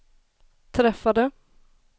träffade